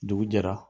Dugu jɛra